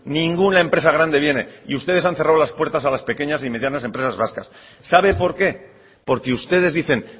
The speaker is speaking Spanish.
ninguna empresa grande viene y ustedes han cerrado la puerta a las pequeñas y medianas empresas vascas sabe por qué porque ustedes dicen